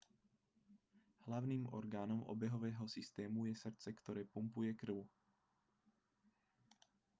hlavným orgánom obehového systému je srdce ktoré pumpuje krv